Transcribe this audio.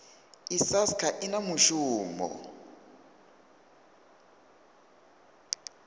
i sasc i na mushumo